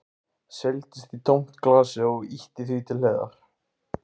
Seildist í tómt glasið og ýtti því til hliðar.